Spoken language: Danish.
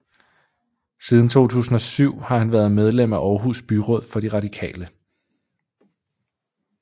Siden 2007 har han været medlem af Aarhus Byråd for de radikale